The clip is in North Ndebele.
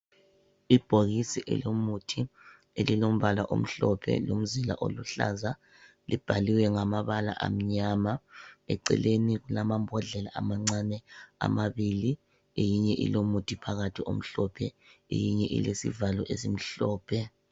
Ibhokisi elomuthi elilombala omhlophe lomzila oluhlaza libhaliwe ngamabala amnyama. Eceleni kulamambodlela amancane amabili eyinye ilomuthi phakathi omhlophe eyinye ilesivalo esimhlophe.